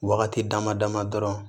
Wagati dama dama dɔrɔn